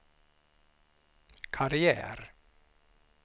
karriär